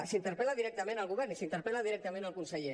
s’interpel·la directament al govern i s’interpel·la directament al conseller